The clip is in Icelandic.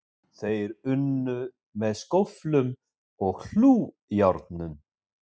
Þeir unnu með skóflum og hlújárnum